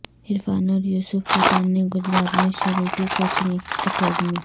عرفان اور یوسف پٹھان نے گجرات میں شروع کی کوچنگ اکیڈمی